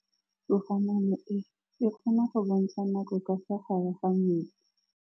Toga-maanô e, e kgona go bontsha nakô ka fa gare ga metsi.